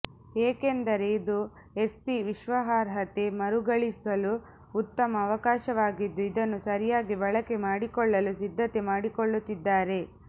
ಏಕೆಂದರೆ ಇದು ಎಸ್ಪಿ ವಿಶ್ವಾಸಾರ್ಹತೆ ಮರಳಿಗಳಿಸಲು ಉತ್ತಮ ಅವಕಾಶವಾಗಿದ್ದು ಇದನ್ನು ಸರಿಯಾಗಿ ಬಳಕೆ ಮಾಡಿಕೊಳ್ಳಲು ಸಿದ್ದತೆ ಮಾಡಿಕೊಳ್ಳುತ್ತಿದ್ದಾರೆ